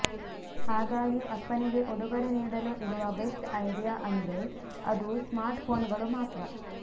ಹಾಗಾಗಿ ಅಪ್ಪನಿಗೆ ಉಡುಗೊರೆ ನೀಡಲು ಇರುವ ಬೆಸ್ಟ್ ಐಡಿಯಾ ಅಂದ್ರೆ ಅದು ಸ್ಮಾರ್ಟ್ ಫೋನ್ ಗಳು ಮಾತ್ರ